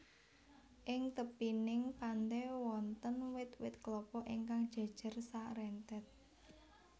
Ing tepining pante wonten wit wit klapa ingkang jejer sarentet